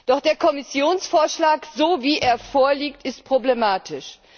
Doch der Kommissionsvorschlag, so wie er vorliegt, ist problematisch.